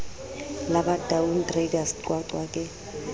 la bataung traders qwaqwa ke